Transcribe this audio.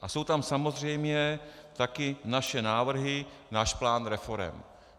A jsou tam samozřejmě také naše návrhy, náš plán reforem.